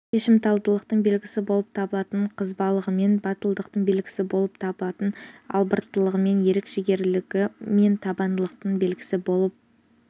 шешімталдылықтың белгісі болып табылатын қызбалығымен батылдықтың белгісі болып табылатын албырттылығымен ерік-жігерлілігі мен табандылығының белгісі болып